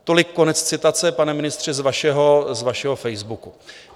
Tolik konec citace, pane ministře, z vašeho Facebooku.